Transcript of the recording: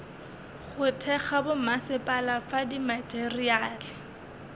go thekga bommasepala fa dimateriale